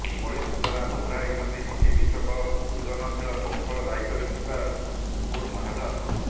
ଏଭଳି ସୂଚନା ଦୋହରାଇଛନ୍ତି ହକି ବିଶ୍ବକପ୍ର ସୃଜନଶୀଳ କୌଶଳ ଦାୟିତ୍ବରେ ଥିବା ନୂପୁର ମହାଜନ